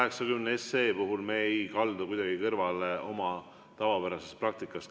Eelnõu 380 puhul ei kaldu me kuidagi kõrvale oma tavapärasest praktikast.